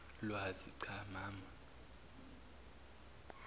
lwazi cha mama